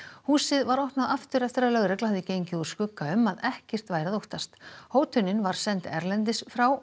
húsið var opnað aftur eftir að lögregla hafði gengið úr skugga um að ekkert væri að óttast hótunin var send erlendis frá